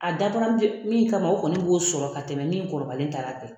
A min kama o kɔni b'o sɔrɔ ka tɛmɛ ni kɔrɔbayara kan